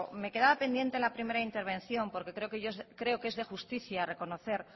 me quedaba pendiente en la primera intervención porque creo que es de justicia reconocer